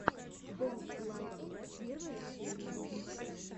дэн лайон первая серия